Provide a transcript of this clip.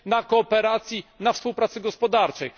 kooperacji i współpracy gospodarczej.